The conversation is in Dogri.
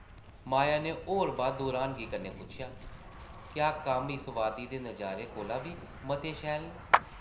माया नै होर बद्ध र्हानगी कन्नै पुच्छेआ, ‘‘क्या कम्म इस वादी दे नज़ारे कोला बी मते शैल न ?’’